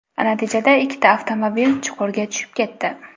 Natijada ikkita avtomobil chuqurga tushib ketdi.